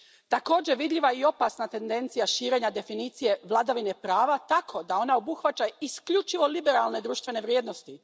Također, vidljiva je i opasna tendencija širenja definicije vladavine prava tako da ona obuhvaća isključivo liberalne društvene vrijednosti.